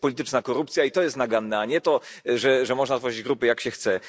To jest polityczna korupcja i to jest naganne, a nie to, że można tworzyć grupy, jak się chce.